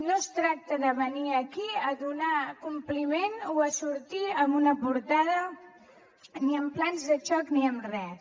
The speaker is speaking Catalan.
no es tracta de venir aquí a donar compliment o a sortir en una portada ni amb plans de xoc ni amb res